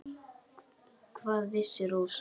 Hvað vissi Rósa.